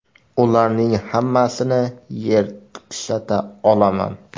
Ularning hammasini yer tishlata olaman.